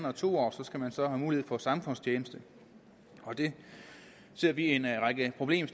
og to år skal have mulighed for samfundstjeneste og det ser vi en række problemer